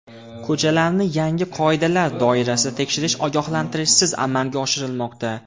Ko‘chalarni yangi qoidalar doirasida tekshirish ogohlantirishsiz amalga oshirilmoqda.